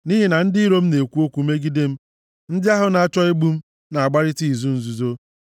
Nʼihi na ndị iro m na-ekwu okwu megide m; ndị ahụ na-achọ igbu m na-agbarịta izu nzuzo.